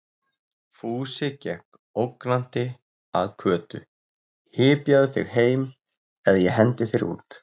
Fúsi gekk ógnandi að Kötu: Hypjaðu þig heim eða ég hendi þér út!